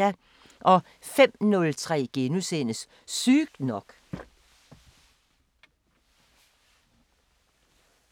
05:03: Sygt nok *